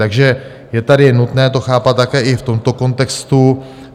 Takže je tady nutné to chápat také i v tomto kontextu.